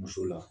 Muso la